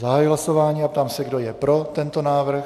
Zahajuji hlasování a ptám se, kdo je pro tento návrh.